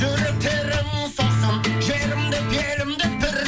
жүректерің соқсын жерім деп елім деп бір